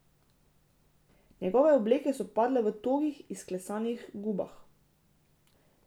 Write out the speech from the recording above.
Njihove obleke so padale v togih, izklesanih gubah.